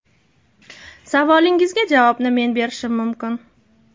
Savolingizga javobni men berishim mumkin.